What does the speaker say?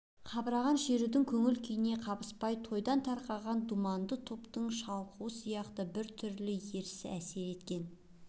қабарған шерудің көңіл-күйіне қабыспай тойдан тарқаған думанды топтың шалықтауы сияқты бір түрлі ерсі әсер еткен